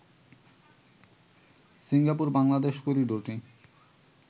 Singapore-Bangladesh করিডোরটি